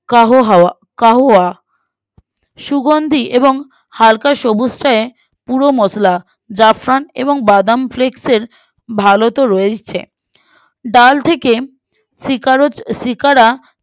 কাহোহাবা কাউয়া সুগন্দি এবং হালকা সবুজ চায়ে গুঁড়ো মশলা জাফরান এবং বাদাম flex এর ভালো তো রয়েছে ডাল থেকে শিকারত শিকারা